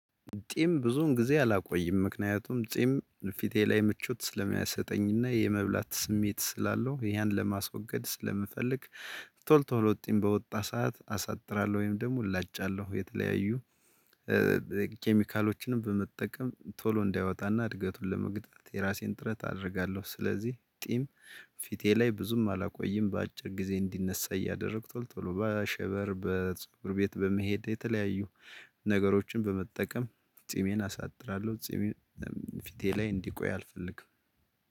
ጢም ብዙን ጊዜ አላቆይም ምክንያቱም ጢም ፊቴ ላይ ምቾት ስለሚያሰጠኝና የመብላት ስሜት ስላለው ያን ለማስወገድ ስለምፈልግ። ቶል ቶሎ ጢም በወጣ ሰዓት አሳጥራለሁ ወይም ደግሞ ላጫለሁ የተለያዩ ኬሚካሎችንም በመጠቀም ቶሎ እንዳያወጣና እድገቱን ለመግታት የራሴን ጥረት አደርጋለሁ። ስለዚህ ጢም ፊቴ ላይ ብዙም አላቆይም በአጭር ጊዜ እንዲነሳ እያደረግኩ ቶሎ በሸበር በጸጉር ቤት በመሄድ የተለያዩ ነገሮችን በመጠቀም ጺሜን አሳጥራለሁ። ጺሜን ፊቴ ላይ እንዲቆይ አልፈልግም።